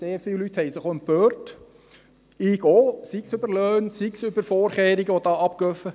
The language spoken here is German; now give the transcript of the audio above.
Sehr viele Leute haben sich auch empört – auch ich –, sei es über Löhne, über Vorkehrungen, die ablaufen.